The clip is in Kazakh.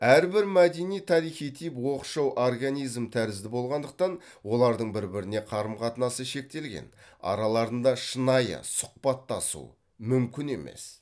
әрбір мәдени тарихи тип оқшау организм тәрізді болғандықтан олардың бір біріне қарым қатынасы шектелген араларында шынайы сұхбаттасу мүмкін емес